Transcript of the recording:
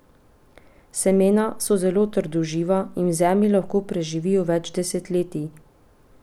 Semena so zelo trdoživa in v zemlji lahko preživijo več desetletij!